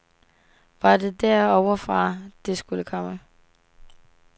Var det derovre fra, det skulle komme.